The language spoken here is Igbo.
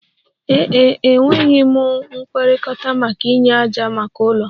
Ee e, enwetaghị m nkwekọrịta maka inye ájá maka ụlọ